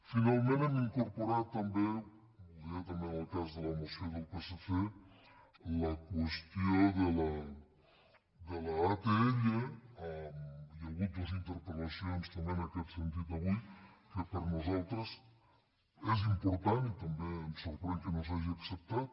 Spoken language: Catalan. finalment hem incorporat també ho deia també en el cas de la moció del psc la qüestió de l’atll hi ha hagut dues interpel·lacions també en aquest sentit avui que per nosaltres és important i també ens sor·prèn que no s’hagi acceptat